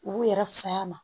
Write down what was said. U b'u yɛrɛ fisay'a ma